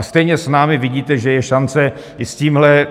A stejně s námi vidíte, že je šance i s tímhle